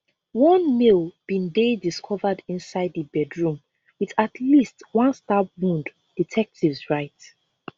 one male bin dey discovered inside di bedroom with at least one stab wound detectives write